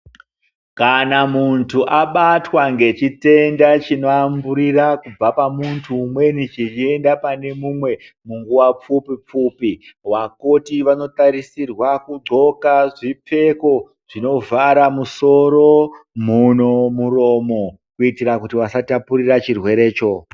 Kana mundu abatwa ngechitenda chinodamburira kubva pamhundu umweni cheyiyenda pane umwe munguva pfupi pfupi vakoti vanotarisirwa kuxoka zvipfeko zvinovhara musoro munhu muromo kuitira kuti vasatapurira chirwere choo.